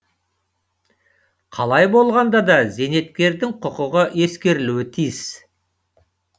қалай болғанда да зейнеткердің құқығы ескерілуі тиіс